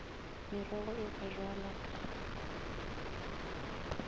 merogo e ka bjalwa ka